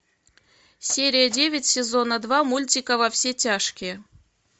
серия девять сезона два мультика во все тяжкие